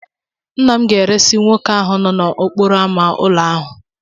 Nna m ga-eresị nwoke ahụ no n'okporo ámá ụlọ ahu